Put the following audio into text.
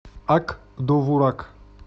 ак довурак